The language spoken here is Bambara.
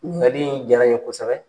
Ɲininkali diyara n ye kosɛbɛ.